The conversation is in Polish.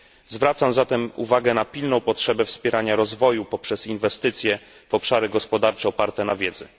Zwracam zatem uwagę na pilną potrzebę wspierania rozwoju poprzez inwestycje w obszary gospodarcze oparte na wiedzy.